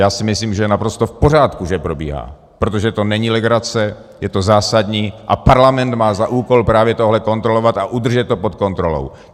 Já si myslím, že je naprosto v pořádku, že probíhá, protože to není legrace, je to zásadní a Parlament má za úkol právě tohle kontrolovat a udržet to pod kontrolou.